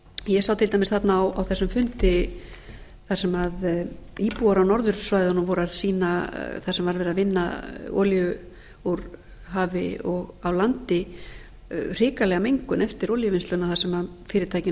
ég sá til dæmis þarna á þessum fundi þar sem íbúar á norðursvæðunum voru að sýna þar sem var verið að vinna olíu úr hafi og á landi hrikalega mengun eftir olíuvinnsluna þar sem fyrirtækin